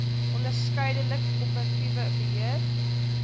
onderskeidelik korporatiewe beheer